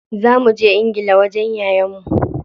Za muje ingila wajen yayan mu.